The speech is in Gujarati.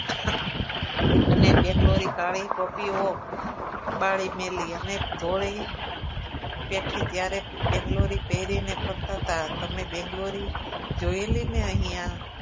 અને બેગ્લોરી કાળી ટોપીઓ ઓ બાળી જ મેલી અને તોય બેઠી ત્યારે બેગ્લોરી પેરીને ફરતા હતા તમે બેંગ્લોરી જોયેલી ને અહિયાં